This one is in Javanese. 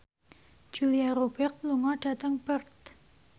Julia Robert lunga dhateng Perth